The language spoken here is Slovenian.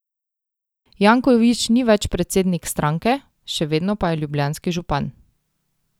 Janković ni več predsednik stranke, še vedno pa je ljubljanski župan.